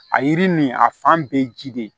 A yiri nin a fan bɛɛ ye ji de ye